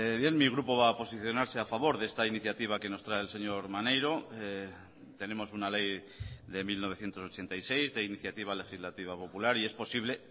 bien mi grupo va a posicionarse a favor de esta iniciativa que nos trae el señor maneiro tenemos una ley de mil novecientos ochenta y seis de iniciativa legislativa popular y es posible